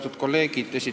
Austatud kolleegid!